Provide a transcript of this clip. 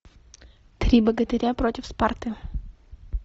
три богатыря против спарты